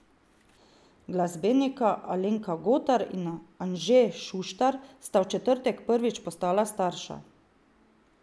Glasbenika Alenka Gotar in Anže Šuštar sta v četrtek prvič postala starša.